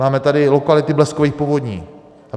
Máme tady lokality bleskových povodní.